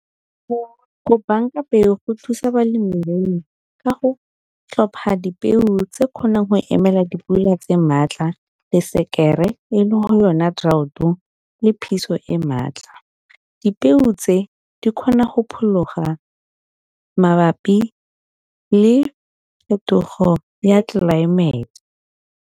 Go bank-a peo go thusa balemirui ka go tlhopha dipeo tse kgonang go emela dipula tse maatla, le sekere e le yona draught-o le phiso e maatla. Dipeo tse di kgona go phologa mabapi le phetogo ya tlelaemete.